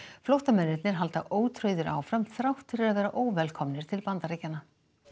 flóttamennirnir halda ótrauðir áfram þrátt fyrir að vera óvelkomnir til Bandaríkjanna